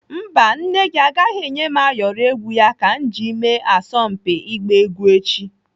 Mba, nne gị agaghị enye m ayọrọ egwu ya ka m ji mee asọmpi igba egwu echi.